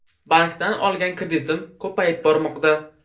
Bankdan olgan kreditim ko‘payib bormoqda.